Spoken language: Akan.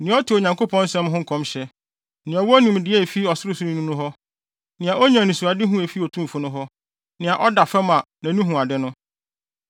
nea ɔte Onyankopɔn nsɛm no nkɔmhyɛ, nea ɔwɔ nimdeɛ a efi Ɔsorosoroni no hɔ, nea onya anisoadehu a efi Otumfo no hɔ, na ɔda fam, a nʼani hu ade no: